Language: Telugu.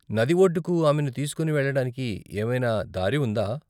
నది ఒడ్డుకు ఆమెను తీసుకుని వెళ్ళడానికి ఏమైనా దారి ఉందా?